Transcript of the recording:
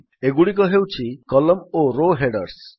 ଏଗୁଡ଼ିକ ହେଉଛି କଲମ୍ନ ଓ ରୋ ହେଡର୍ସ